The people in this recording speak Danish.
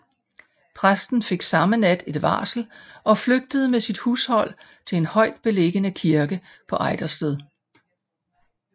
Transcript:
Præsten fik samme nat et varsel og flygtede med sit hushold til en højt beliggende kirke på Ejdersted